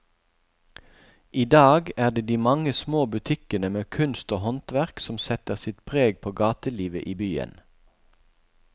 I dag er det de mange små butikkene med kunst og håndverk som setter sitt preg på gatelivet i byen.